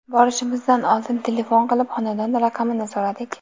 Borishimizdan oldin telefon qilib, xonadon raqamini so‘radik.